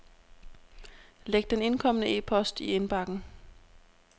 Læg den indkomne e-post i indbakken.